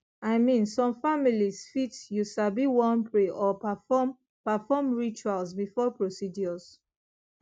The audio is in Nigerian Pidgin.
i mean some families fit you sabi wan pray or perform perform rituals before procedures